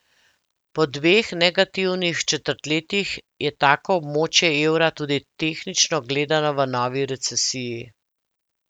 Po dveh negativnih četrtletjih je tako območje evra tudi tehnično gledano v novi recesiji.